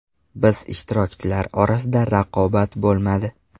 Biz ishtirokchilar orasida raqobat bo‘lmadi.